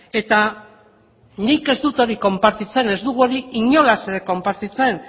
eta nik ez dut hori konpartitzen ez dugu hori inolaz ere konpartitzen